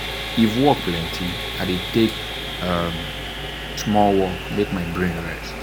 if work plenty i dey take um small um walk make my brain rest.